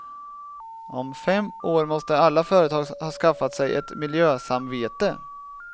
Om fem år måste alla företag ha skaffat sig ett miljösamvete.